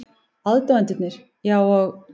Aðdáendurnir, já, og?